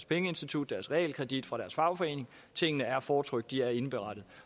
pengeinstitut deres realkredit deres fagforening tingene er fortrykt de er indberettet